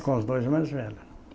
É, com os dois mais velhos.